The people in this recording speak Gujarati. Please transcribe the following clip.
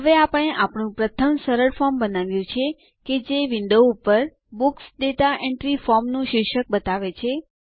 હવે આપણે આપણું પ્રથમ સરળ ફોર્મ બનાવ્યું છે કે જે વિન્ડો ઉપર બુક્સ દાતા એન્ટ્રી ફોર્મ નું શીર્ષક બતાવે છે